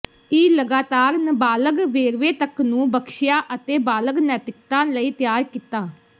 ਈ ਲਗਾਤਾਰ ਨਾਬਾਲਗ ਵੇਰਵੇ ਤੱਕ ਨੂੰ ਬਖਸ਼ਿਆ ਅਤੇ ਬਾਲਗ ਨੈਤਿਕਤਾ ਲਈ ਤਿਆਰ ਕੀਤਾ